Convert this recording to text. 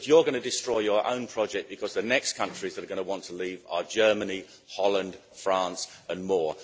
But you're going to destroy your own project because the next countries that are going want to leave are Germany, Holland, France and more.